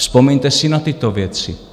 Vzpomeňte si na tyto věci.